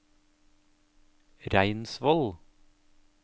Reinsvoll